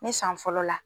Ne san fɔlɔ la